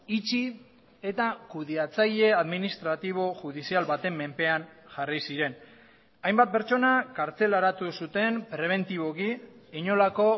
itxi eta kudeatzaile administratibo judizial baten menpean jarri ziren hainbat pertsona kartzelaratu zuten prebentiboki inolako